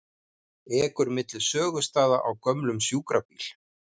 Ekur milli sögustaða á gömlum sjúkrabíl